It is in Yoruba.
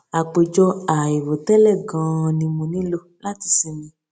àpèjọ àìrò tẹlẹ ganan ni mo nílò láti sinmi